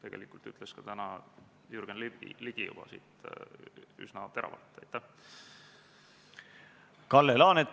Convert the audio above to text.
Eelnõu esitajat esindavad Kaitseministeeriumi ametnikud toetasid eelnõu kohta tehtud keelelist täpsustust ja muudatusettepanekut.